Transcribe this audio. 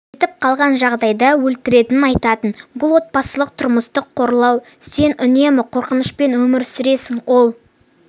кетіп қалған жағдайда өлтіретінін айтатын бұл отбасылық тұрмыстық қорлау сен үнемі қорқынышпен өмір сүресің ол